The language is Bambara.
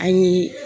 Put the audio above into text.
An ye